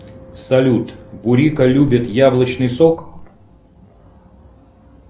салют бурика любит яблочный сок